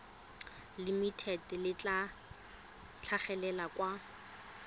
limited le tla tlhagelela kwa